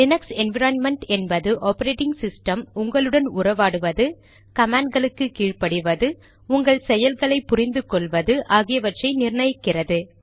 Linux environment என்பது operating system உங்களுடன் உறவாடுவது கமாண்ட்களுக்கு கீழ் படிவது உங்கள் செய்கைகளை புரிந்து கொள்வது ஆகியவற்றை நிர்ணயிக்கிறது